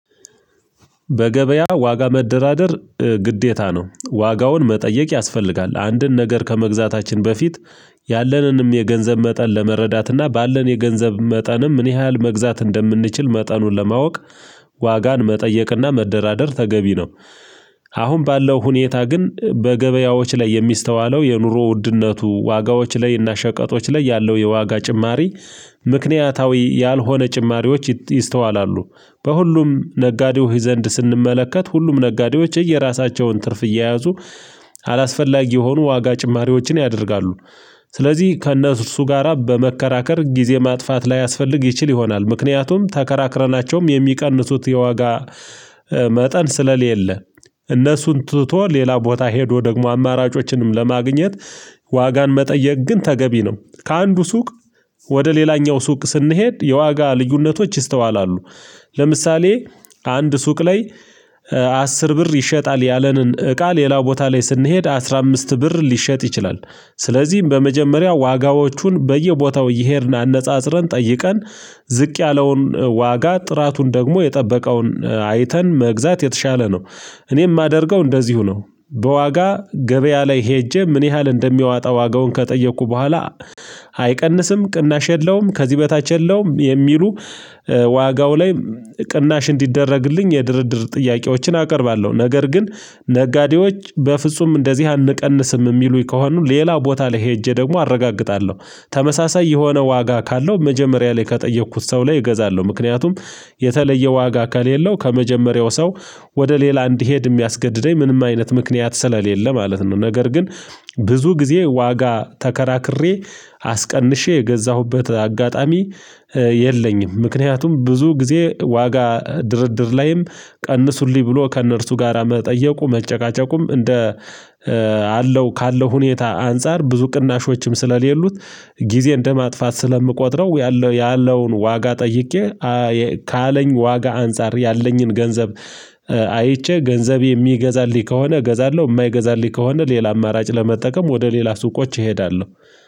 በገበያ ዋጋ መደራደር ግዴታ ነው። ዋጋውን መጠየቅ ያስፈልጋል አንድን ነገር ከመግዛታችን በፊት ያለንንም የገንዘብ መጠን ለመረዳት እና ባለን የገንዘብ መጠን ምን ያህል መግዛት እንደምንችል መጠኑን ለማወቅ ዋጋን መጠየቅና መደራደር ተገቢ ነው። አሁን ባለው ሁኔታ ግን በገበያዎች ላይ የሚስተዋለው የኑሮ ውድነቱ ዋጋዎች ላይ እና ሸቀጦች ላይ ያለው የዋጋ ጭማሪ ምክንያታዊ ያልሆነ ጭማሪዎች ይስተዋላሉ። በሁሉም ነጋዴዎች ዘንድ ስንመለከት ሁሉም ነጋዴዎች የየራሳቸውን ትርፍ እየያዙ አላስፈላጊ የሆኑ ዋጋ ጭማሪዎችን ያደርጋሉ። ስለዚህ ከእነርሱ ጋራ በመከራከር ጊዜ ማጥፋት ላያስፈልግ ይችል ይሆናል። ምክንያቱም ተከራክረናቸውም የሚቀንሱት የዋጋ መጠን ስለሌለ እነሱን ትቶ ሌላ ቦታ ሄዶ ደግሞ አማራጮችንም ለማግኘት። ዋጋን መጠየቅ ግን ተገቢ ነው። ከአንዱ ሱቅ ወደ ሌላኛው ሱቅ ስንሄድ የዋጋ ልዩነቶች ይስተዋላሉ። ለምሳሌ አንድ ሱቅ ላይ አስር ብር ይሸጣል ያለንን እቃ ሌላ ቦታ ላይ ስንሄድ አስራ አምስት ብር ሊሸጥ ይችላል። ስለዚህም በመጀመሪያ ዋጋዎቹን በየቦታው እየሄድን አነጻጽረን ጠይቀን ዝቅ ያለውን ዋጋ ጥራቱን ደግሞ የጠበቀውን አይተን መግዛት የተሻለ ነው። እኔ የማደርገው እንደዚሁ ነው። በዋጋ ገበያ ላይ ሄጄ ምን ያህል እንደሚያወጣ ዋጋውን ከጠየኩ በኋላ አይቀንስም ቅናሽ የለውም ከዚህ በታች የለውም። የሚሉ ዋጋው ላይ ቅናሽ እንዲደረግልኝ የድርድር ጥያቄዎችን አቀርባለሁ። ነገር ግን ነጋዴዎች በፍጹም እንደዚህ አንቀንስም የሚሉኝ ከሆኑ ሌላ ቦታ ላይ ሄጄ ደግሞ አረጋግጣለሁ። ተመሳሳይ የሆነ ዋጋ ካለው መጀመሪያ ላይ ከጠየኩት ሰው ላይ እገዛለሁ ምክንያቱም የተለየ ዋጋ ከሌለው ከመጀመሪያው ሰው ወደ ሌላ እንዲሄድ የሚያስገድደኝ ምንም አይነት ምክንያት ስለሌለ ማለት ነው። ነገር ግን ብዙ ጊዜ ዋጋ ተከራክሬ አስቀንሼ የገዛሁበት አጋጣሚ የለኝም። ምክንያቱም ብዙ ጊዜ ዋጋ ድርድር ላይም ቀንሱልኝ ብሎ ከእነርሱ ጋራ መጠየቁ መጨቃጨቁም እንደ አለው ካለው ሁኔታ አንፃር ብዙ ቅናሾችም ስለሌሉት ጊዜ እንደማጥፋት ስለምቆጥረው። ያለውን ዋጋ ጠይቄ ካለኝ ዋጋ አንፃር ያለኝን ገንዘብ አይቼ ገንዘብ የሚገዛልኝ ከሆነ እገዛለሁ የማይገዛልኝ ከሆነ ሌላ አማራጭ ለመጠቀም ወደ ሌላ ሱቆች እሄዳለሁ።